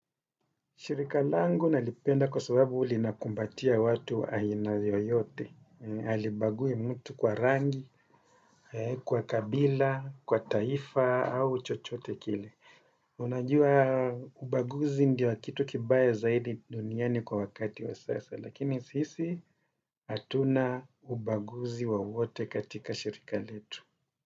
Shirika langu nalipenda kwa sababu lina kumbatia watu wa ina yoyote. Hali bagui mtu kwa rangi, kwa kabila, kwa taifa au chochote kile. Unajua ubaguzi ndio kitu kibaya zaidi duniani kwa wakati wa sasa. Lakini sisi hatuna ubaguzi wowote katika shirika letu.